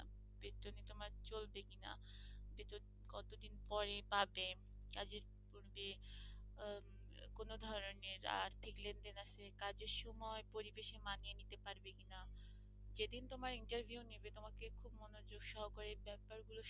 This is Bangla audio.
বেতন কত দিন পরে পাবে আহ কোন ধরনের আর্থিক লেনদেন আছে কাজের সময় পরিবেশে মানিয়ে নিতে পারবে কিনা যেদিন তোমার interview নিবে তোমাকে খুব মনোযোগ সহকারে ব্যাপার গুলো,